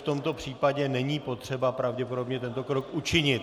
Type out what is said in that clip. V tomto případě není potřeba pravděpodobně tento krok učinit.